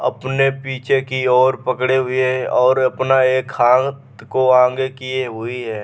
अपने पीछे की ओर पकड़े हुएऔर अपना एक हांत को आगे किये हुई है।